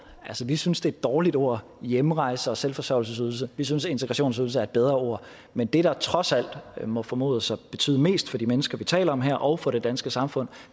vi synes det et dårligt ord hjemrejse og selvforsørgelsesydelse vi synes at integrationsydelse er et bedre ord men det der trods alt må formodes at betyde mest for de mennesker vi taler om her og for det danske samfund